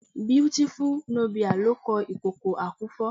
Beautiful Nubia ló kọ "Ìkòkò àkúfọ.."